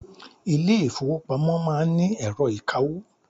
Ilé ìfọwọ́pamo má ń ni ẹ̀rọ ìkawó.